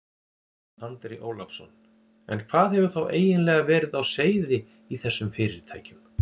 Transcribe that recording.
Andri Ólafsson: En hvað hefur þá eiginlega verið á seyði í þessum fyrirtækjum?